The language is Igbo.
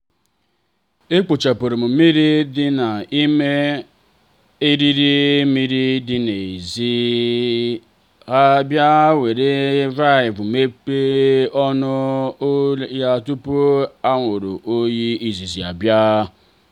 e kpochapurum mmiri dị n'ime eriri mmiri dị n'èzí ha bịa nwere valvụ mechie ọnụ ya tupu anwuri oyi izizi abịa.